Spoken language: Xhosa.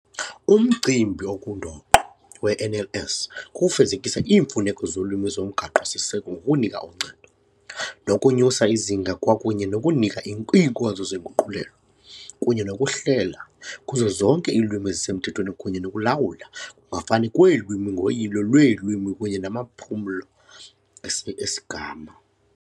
Umcimbi ongundoqo we-NLS kukufezekisa iimfuneko zolwimi zoMgaqo Siseko ngokunika uncedo, nokunyusa izinga kwakunye nokunika iinkonzo zenguqulelo kunye nokuhlela kuzo zonke iilwimi ezisemthethweni kunye nokulawula ukungafani kweelwimi ngoyilo lweelwimi kunye namaphulo esi esigama.